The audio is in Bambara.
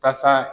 Kasa